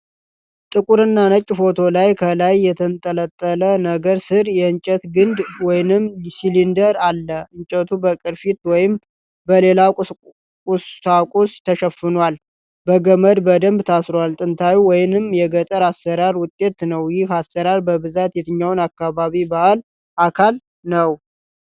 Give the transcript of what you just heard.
ጥቁርና ነጭ ፎቶ ላይ ከላይ የተንጠለጠለ ነገር ስር የእንጨት ግንድ ወይንም ሲሊንደር አለ። እንጨቱ በቅርፊት ወይም በሌላ ቁሳቁስ ተሸፍኗል። በገመድ በደንብ ታስሯል። ጥንታዊ ወይንም የገጠር አሰራር ውጤት ነው። ይህ አሰራር በብዛት የትኛው አካባቢ ባህል አካል ነው?